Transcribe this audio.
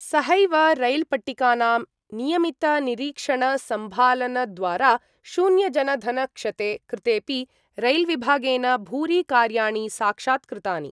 सहैव रैल्पट्टिकानां नियमितनिरीक्षणसम्भालनद्वारा शून्यजनधनक्षते कृतेपि रैल्विभागेन भूरि कार्याणि साक्षात्कृतानि।